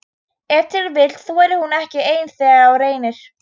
Ef til vill þorir hún ekki ein þegar á reynir?